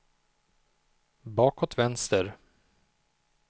bakåt vänster